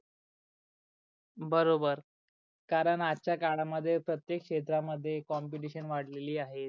बरोबर. कारण आजच्या काळा मध्ये प्रतेक क्षेत्रा मध्ये कॉम्पटिशन वाडलेली आहे.